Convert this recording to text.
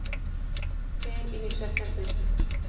Fer inn í svefnherbergið.